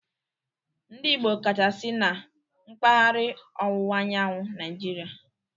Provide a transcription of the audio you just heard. Ndị Igbo kacha si na mpaghara ọwụwa anyanwụ Naijiria